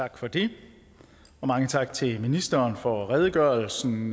tak for det mange tak til ministeren for redegørelsen